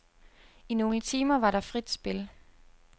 I nogle timer var der frit spil.